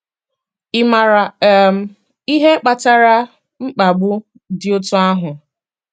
Ị maara um ihe kpatara mkpagbu dị otú ahụ?